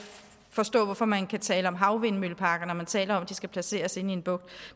forstå hvorfor man kan tale om havvindmølleparker når man taler om at de skal placeres inde i en bugt